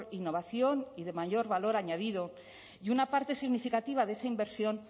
innovación y de mayor valor añadido y una parte significativa de esa inversión